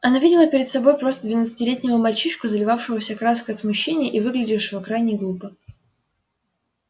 она видела перед собой просто двадцатилетнего мальчишку заливавшегося краской от смущения и выглядевшего крайне глупо